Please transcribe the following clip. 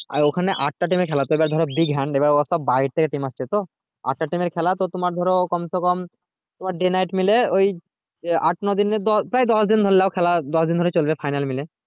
আর ওখানে আট তা team এর খেলা তো এবার ধরো big hand ও সব বাইরে থেকে team আসছে তো এত টা team তো তোমার ধরো কমসকম day night মিলে ওই যে আট নদিন এর প্রায় দশ দিন প্রায় দশ দিন ধরে নাও প্রায় দশ দিন খেলা চলবে final মিলে